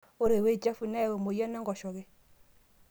ore ewei chafu neyau emoyian enkoshoke